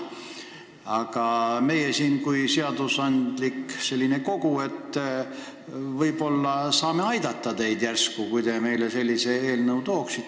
Aga meie kui seadusandlik kogu võib-olla saame teid selles aidata, kui te meile säärase eelnõu toote.